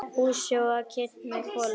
Húsið var kynt með kolum.